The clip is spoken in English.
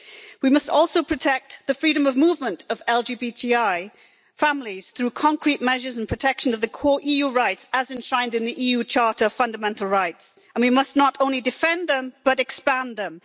We must also protect the freedom of movement of LGBTI families through concrete measures and protection of the core EU rights as enshrined in the EU Charter of Fundamental Rights, and we must not only defend them but expand them.